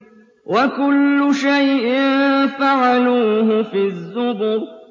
وَكُلُّ شَيْءٍ فَعَلُوهُ فِي الزُّبُرِ